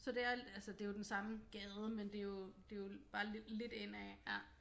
Så det er altså det er jo den samme gade men det er jo det er jo bare lidt indad ja